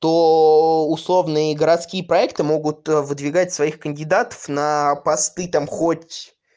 то условные городские проекты могут выдвигать своих кандидатов на посты там хоть